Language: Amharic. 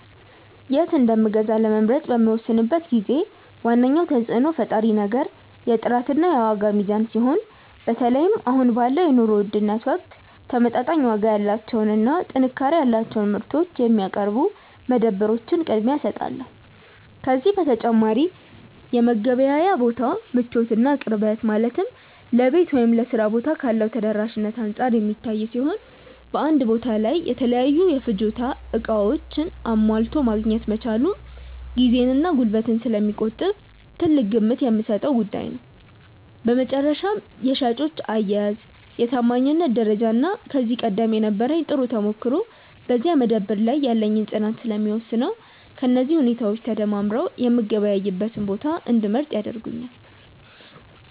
የት እንደምገዛ ለመምረጥ በምወስንበት ጊዜ ዋነኛው ተጽዕኖ ፈጣሪ ነገር የጥራትና የዋጋ ሚዛን ሲሆን፣ በተለይም አሁን ባለው የኑሮ ውድነት ወቅት ተመጣጣኝ ዋጋ ያላቸውንና ጥንካሬ ያላቸውን ምርቶች የሚያቀርቡ መደብሮች ቅድሚያ እሰጣቸዋለሁ። ከዚህ በተጨማሪ የመገበያያ ቦታው ምቾትና ቅርበት፣ ማለትም ለቤት ወይም ለሥራ ቦታ ካለው ተደራሽነት አንጻር የሚታይ ሲሆን፣ በአንድ ቦታ ላይ የተለያዩ የፍጆታ ዕቃዎችን አሟልቶ ማግኘት መቻሉም ጊዜንና ጉልበትን ስለሚቆጥብ ትልቅ ግምት የምሰጠው ጉዳይ ነው። በመጨረሻም የሻጮች አያያዝ፣ የታማኝነት ደረጃና ከዚህ ቀደም የነበረኝ ጥሩ ተሞክሮ በዚያ መደብር ላይ ያለኝን ፅናት ስለሚወስነው፣ እነዚህ ሁኔታዎች ተደማምረው የምገበያይበትን ቦታ እንድመርጥ ያደርጉኛል።